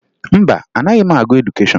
Mba, anaghị m agụ edukeshọn